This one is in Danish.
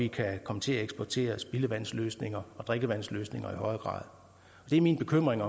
kan komme til at eksportere spildevandsløsninger og drikkevandsløsninger det er min bekymring